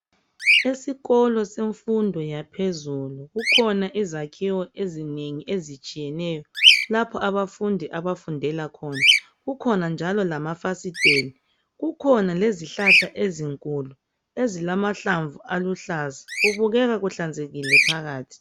Esikolo semfundo yaphezulu, kukhona izakhiwo ezinengi ezitshiyeneyo lapho abafundi abafundela khona. Kukhona njalo lamafasiteli kukhona lezihlahla ezinkulu ezilamahlamvu aluhlaza. Kubukeka kuhlanzekile phakathi.